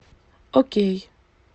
окей